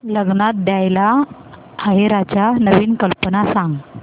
लग्नात द्यायला आहेराच्या नवीन कल्पना सांग